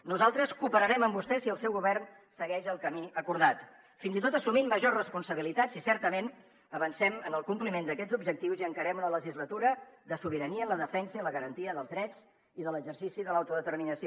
nosaltres cooperarem amb vostès si el seu govern segueix el camí acordat fins i tot assumint majors responsabilitats si certament avancem en el compliment d’aquests objectius i encarem una legislatura de sobirania en la defensa i la garantia dels drets i de l’exercici de l’autodeterminació